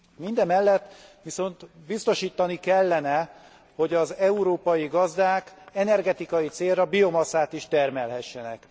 Mindemellett viszont biztosítani kellene, hogy az európai gazdák energetikai célra biomasszát is termelhessenek.